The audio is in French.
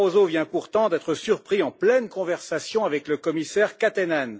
Barroso vient pourtant d'être surpris en pleine conversation avec le commissaire Katainen.